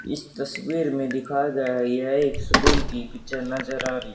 इस तस्वीर में दिखाया गया है यह एक स्कूल की पिक्चर नजर आ रही।